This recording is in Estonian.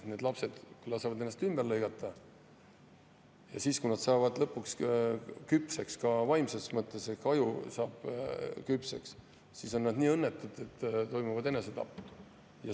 Need lapsed lasevad ennast ümber lõigata ja kui nad saavad lõpuks küpseks, ka vaimses mõttes, ehk aju saab küpseks, siis on nad õnnetud ning toimuvad enesetapud.